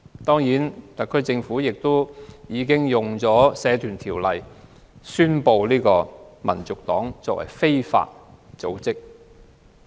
特區政府已引用《社團條例》，宣布香港民族黨是非法組織。